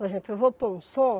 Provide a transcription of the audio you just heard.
Por exemplo, eu vou pôr um som,